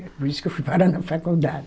Por isso que eu fui parar na faculdade.